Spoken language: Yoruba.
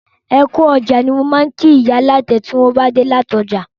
Ẹkú ọjà ni mo ma kí ìyá alátẹ tí wọn bá dé láti ọjà